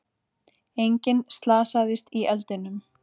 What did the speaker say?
Enginn slasaðist í eldinum